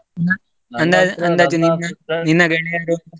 ಅಹ್ ಅಂದಾಜು ನಿನ್ನ ಗೆಳೆಯರು?